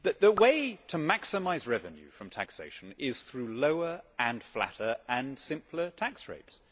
The way to maximise revenue from taxation is through lower, flatter and simpler tax rates.